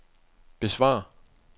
besvar